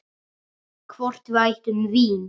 Hvort við ættum vín?